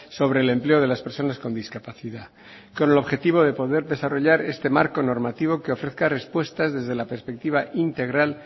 sobre el empleo de las personas con discapacidad con el objetivo de poder desarrollar este marco normativo que ofrezca respuestas desde la perspectiva integral